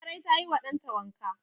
Larai ta yi wa dan ta wanka.